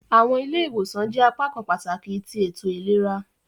Awọn ile-iwosan jẹ apakan pataki ti eto ilera.